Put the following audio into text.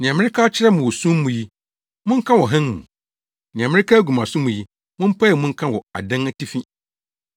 Nea mereka akyerɛ mo wɔ sum mu yi, monka wɔ hann mu. Nea mereka agu mo asom yi, mompae mu nka wɔ adan atifi.